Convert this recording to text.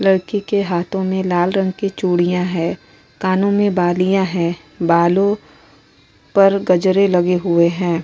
लड़की के हाथो में लाल रंग की चूड़ियाँ हैं। कानों में बालियाँ हैं। बालों पर गजरे लगे हुए हैं।